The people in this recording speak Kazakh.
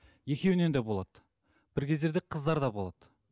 екеуінен де болады бір кездерде қыздарда болады